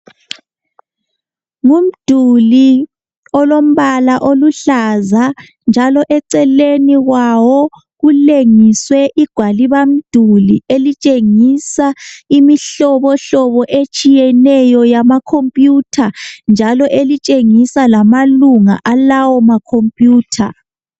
Ngumduli olombala oluhlaza njalo eceleni kwawo kulengiswe igwalibamduli elitshengisa imihlobohlobo etshiyeneyo yama computer njalo elitshengisa lamalunga alawo ma computer.